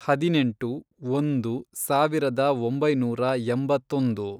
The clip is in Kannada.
ಹದಿನೆಂಟು, ಒಂದು, ಸಾವಿರದ ಒಂಬೈನೂರ ಎಂಬತ್ತೊಂದು